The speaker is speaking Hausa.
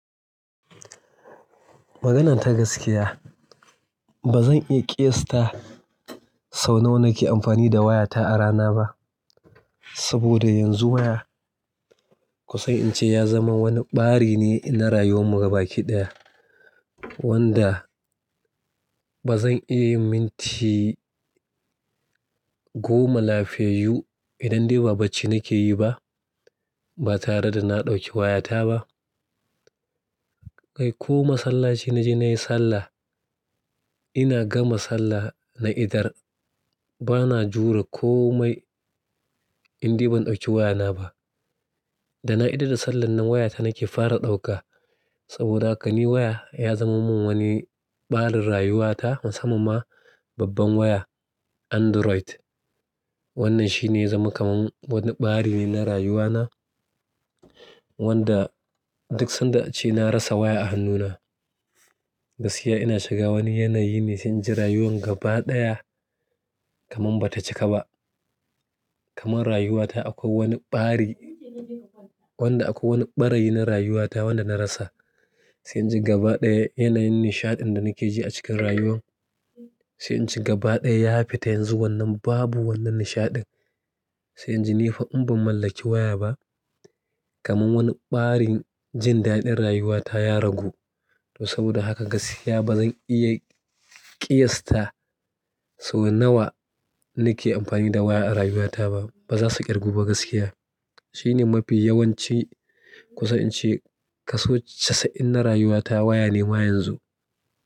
Maganar ta gaskiya, ba zan iya ƙiyasta sau nawa nake amfani da wayata a rana ba. Saboda yanzu waya, ku san in ce ya zama wani ɓari ne ina rayuwar mu gaba ki ɗaya. Wanda ba zan iya yin minti goma lafiyayyu idan dai ba bacci nake yi ba, ba tare da na ɗauki wayata ba. Kai ko masallaci na je na yi sallah, ina gama sallah na idar, ba na jure komai indai ban ɗauki wayana ba. Da na idar da sallan nan waya ta nake fara dauka. Saboda haka ni waya ya zama min wani ɓarin rayuwata musamman ma babban waya Android. Wannan shi ne ya zama kaman wani ɓari ne na rayuwana. Wanda duk sanda ace na rasa waya a hannuna. Gaskiya ina shiga wani yanayi ne sai in ji rayuwan gaba ɗaya kaman ba ta cika ba. Kaman rayuwata akwai wani ɓari, wanda akwai wani ɓarayi na rayuwata wanda na rasa. Sai inji gaba daya yanayin nishadin da nike ji acikin rayuwan, sai inji gaba baya ya fita zanzu babu wanan nishadin. Sai in ji ni fa in ban mallaki waya ba, kaman wani ɓarin jin daɗin rayuwata ya ragu. To saboda haka gaskiya ba zan iya ƙiyasta sau nawa nake amfani da waya a rayuwata ba. Ba za su ƙirgu ba gaskiya. Shi ne mafi yawanci ku san in ce kaso catsa'in na rayuwata waya ne ma yanzu.